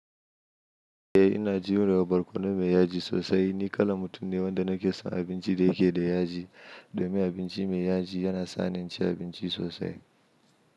Eh ina jiyo da barkono mai yaji sosai. Ni kalan mutum ne wanda nake son abinci da yake da yaji. Domin abinci mai yaji yana sani inci abinci sosai.